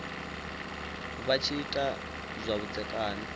vha tshi ita zwa vhudzekani